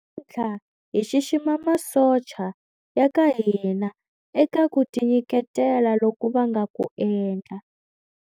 Namuntlha hi xixima masocha ya ka hina eka ku tinyiketela loku va nga ku endla.